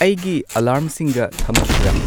ꯑꯩꯒꯤ ꯑꯦꯂꯥꯔꯝꯁꯤꯡꯒ ꯊꯝꯈꯤꯕ꯭ꯔ